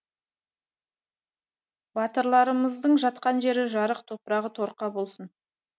батырларымыздың жатқан жері жарық топырағы торқа болсын